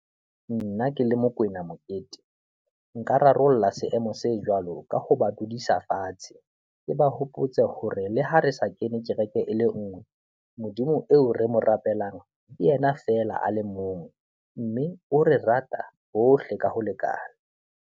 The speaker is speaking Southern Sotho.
Nna ke le Mokwena Mokete, nka rarolla seemo se jwalo ka ho ba dudisa fatshe, ke ba hopotse hore le ha re sa kene kereke e le nngwe, Modimo eo re mo rapelang, ke yena fela a le mong mme o re rata bohle ka ho lekana.